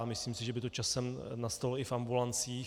A myslím si, že by to časem nastalo i v ambulancích.